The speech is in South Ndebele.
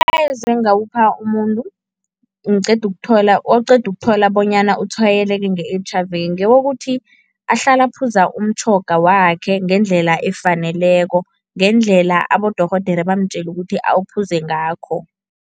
Engawupha umuntu ngiqeda ukuthola, oqeda ukuthola bonyana utshwayeleke nge-H_I_V ngewokuthi ahlale aphuza umtjhoga wakhe ngendlela efaneleko, ngendlela abodorhodere bamtjele ukuthi awuphuze ngakho.